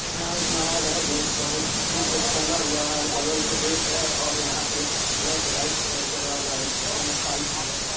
यहां एक नहड़ है जो बहुत दूर तक फैला हुआ है और बगल मे रेत है और यहां पे ब्लैक वाइट कलर का लगा हुआ है बगल में पाइप भी है।